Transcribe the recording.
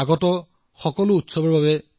মই আপোনালোকৰ চিঠি আৰু বাৰ্তাৰ বাবে অপেক্ষা কৰিম